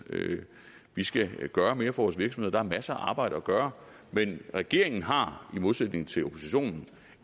vi skal gøre mere for vores virksomheder masser af arbejde at gøre men regeringen har i modsætning til oppositionen